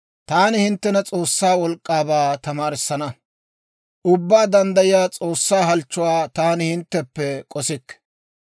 «Taani hinttena S'oossaa wolk'k'aabaa tamaarissana; Ubbaa Danddayiyaa S'oossaa halchchuwaa taani hintteppe k'ossikke.